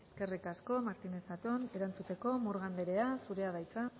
eskerrik asko martínez zatón erantzuteko murga andrea zurea da hitza